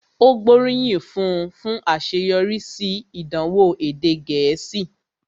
Ó gbóríyìn fún un fún àṣeyọrí sí ìdánwò èdè Gẹ̀ẹ́sì